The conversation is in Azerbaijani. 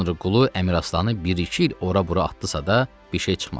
Tanrıqulu Əmiraslanı bir-iki il ora-bura atdısa da, bir şey çıxmadı.